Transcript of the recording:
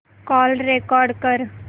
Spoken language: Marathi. कॉल रेकॉर्ड कर